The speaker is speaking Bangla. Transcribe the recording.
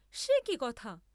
সে কি কথা!